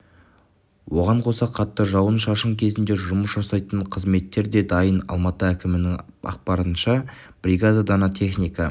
оған қоса қатты жауын-шашын кезінде жұмыс жасайтын қызметтер де дайын алматы әкімінің ақпарынша бригада дана техника